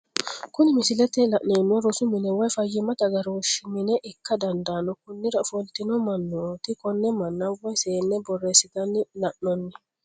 Kuni misilete la'neemohu rosu mine woyi fayimatte agarooshi mine ikka dandanno konira ofolitino manoti kone mana woyi seene borreesitana la'nanni